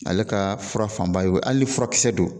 Ale ka fura fanba ye o ali ni furakisɛ don